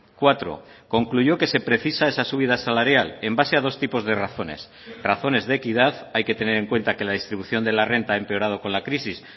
cuatro concluyó que se precisa esa subida salarial en base a dos tipos de razones razones de equidad hay que tener en cuenta que la distribución de la renta ha empeorado con la crisis